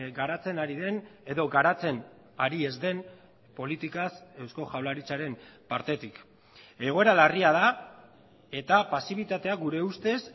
garatzen ari den edo garatzen ari ez den politikaz eusko jaurlaritzaren partetik egoera larria da eta pasibitatea gure ustez